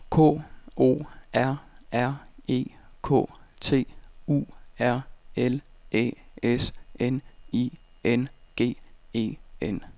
K O R R E K T U R L Æ S N I N G E N